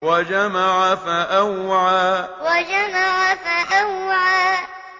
وَجَمَعَ فَأَوْعَىٰ وَجَمَعَ فَأَوْعَىٰ